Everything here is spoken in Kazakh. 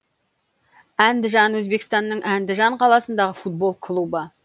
әндіжан өзбекстанның әндіжан қаласындағы футбол клубы